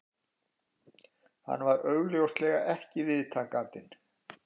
Hann var augljóslega ekki viðtakandinn